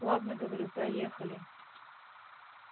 ладно говорю проехали